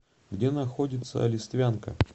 где находится листвянка